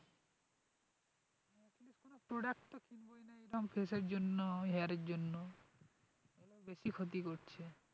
Product face এর জন্য hair এর জন্য বেশি ক্ষতি করছে,